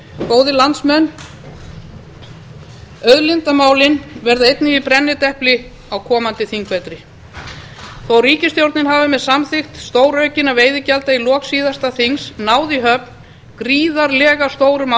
góðir landsmenn auðlindamálin verða einnig í brennidepli á komandi þingvetri þótt ríkisstjórnin hafi með samþykkt stóraukinna veiðigjalda í lok síðasta þings náð í höfn gríðarlega stórum